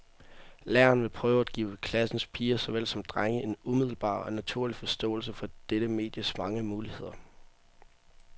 Læreren vil prøve at give klassens piger såvel som drenge en umiddelbar og naturlig forståelse for dette medies mange muligheder.